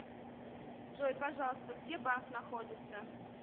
джой пожалуйста где банк находится